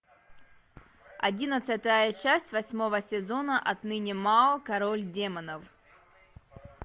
одиннадцатая часть восьмого сезона отныне мао король демонов